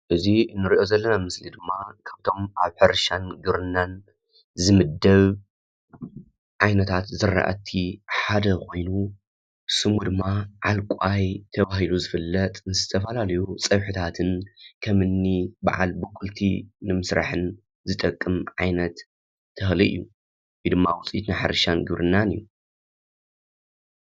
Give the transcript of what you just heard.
እዚ ንሪኦ ዘለና ምስሊ ድማ ካብቶም ኣብ ሕርሻን ግብርና ዝምደብ ዓይነታት ዝራእቲ ሓደ ኾይኑ ስሙ ድማ ዓልቋይ ተባሂሉ ዝፍለጥ ዝተፈላለዩ ፀብሒታትን ከምኒ በዓል ብቁልቲ ንምስራሕን ዝጠቅም ዓይነት ተኽሊ እዩ። ወይ ድማ ውፅኢት ናይ ሕርሻን ግብርናን እዩ።